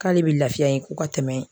K'ale bi lafiya yen ko ka tɛmɛ.